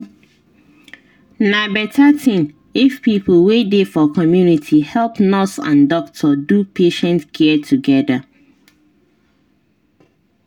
na better thing if people wey dey for community help nurse and doctor do patient care together.